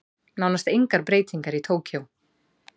Nánast engar breytingar í Tókýó